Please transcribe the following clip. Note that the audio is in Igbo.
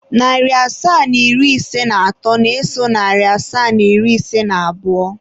Narị asaa na iri ise na atọ na-eso narị asaa na iri ise na abụọ.